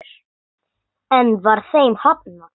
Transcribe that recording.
Enn var þeim hafnað.